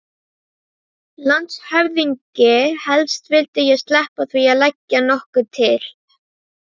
LANDSHÖFÐINGI: Helst vildi ég sleppa því að leggja nokkuð til.